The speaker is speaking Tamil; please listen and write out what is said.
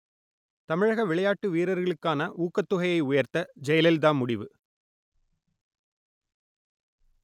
தமிழக விளையாட்டு வீரர்களுக்கான ஊக்கத் தொகையை உயர்த்த ஜெயலலிதா முடிவு